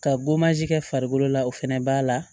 Ka kɛ farikolo la o fɛnɛ b'a la